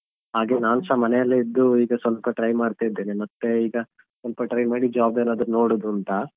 ಹಾಗೆ ನಾನ್ಸ ಮನೆಯೆಲ್ಲೆ ಇದ್ದು ಈಗ ಸ್ವಲ್ಪ try ಮಾಡ್ತಾ ಇದ್ದೇನೆ ಮತ್ತೆ ಈಗ ಸ್ವಲ್ಪ try ಮಾಡಿ job ಏನಾದ್ರು ನೋಡುದು ಅಂತ.